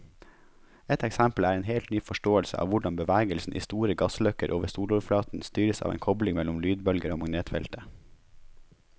Et eksempel er en helt ny forståelse av hvordan bevegelsen i store gassløkker over soloverflaten styres av en kobling mellom lydbølger og magnetfeltet.